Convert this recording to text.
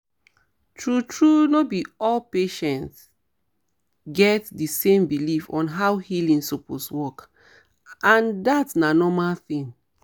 true true no be all patients get di same belief on how healing suppose work and dat na normal thing